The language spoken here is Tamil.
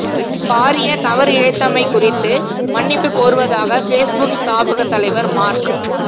பாரிய தவறிழைத்தமை குறித்து மன்னிப்புக் கோருவதாக பேஸ்புக் ஸ்தாபகத் தலைவர் மார்க்